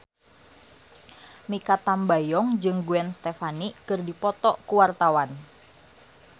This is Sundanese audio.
Mikha Tambayong jeung Gwen Stefani keur dipoto ku wartawan